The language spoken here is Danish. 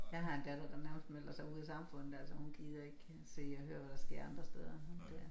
Jeg har en datter der nærmest melder sig ud af samfundet altså hun gider ikke se og høre hvad der sker andre steder så det